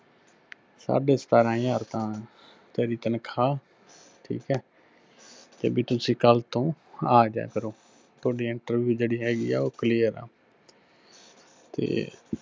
ਸਾਡੇ ਸਤਾਰਾਂ ਹਜ਼ਾਰ ਤਾਂ ਤੇਰੀ ਤਨਖਾਅ, ਠੀਕ ਹੈ, ਕੇ ਬੀ ਤੁਸੀਂ ਕੱਲ ਤੋਂ ਆਜਾਇਆ ਕਰੋ, ਤੁਹਾਡੀ interview ਜਿਹੜੀ ਹੈਗੀ ਆ ਉਹ clear ਆ। ਤੇ